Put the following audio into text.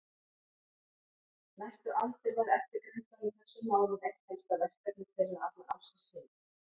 Næstu aldir var eftirgrennslan í þessum málum eitt helsta verkefni þeirra allan ársins hring.